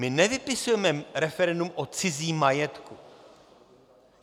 My nevypisujeme referendum o cizím majetku.